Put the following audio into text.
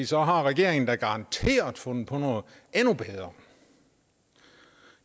så har regeringen da garanteret fundet på noget endnu bedre